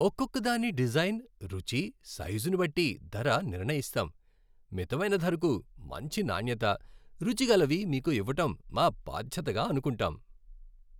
ఒక్కొక్కదాని design, రుచి, సైజుని బట్టి ధర నిర్ణయిస్తాం. మితమైన ధరకు మంచి నాణ్యత, రుచిగలవి మీకు ఇవ్వడం మా బాధ్యతగా అనుకుంటాం .